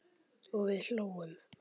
Og við hlógum.